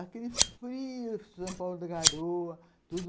Aquele frio, São Paulo da Garoa, tudo.